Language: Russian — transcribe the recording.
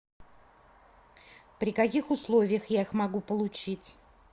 при каких условиях я их могу получить